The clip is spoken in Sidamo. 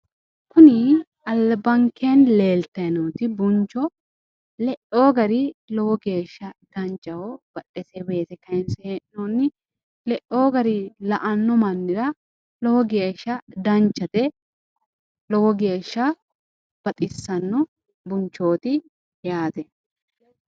Kuni albankeen leelatanoti buncho le'ewo gari lowo geeshsha danchaho badhesee weese kayinse he'nooni le'ewo gari la"ano mannira lowo geeshsha danchate lowo geeshsha baxissano bunchoot yaate.